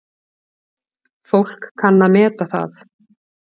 Fólk kann að meta það.